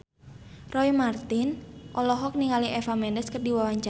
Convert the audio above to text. Roy Marten olohok ningali Eva Mendes keur diwawancara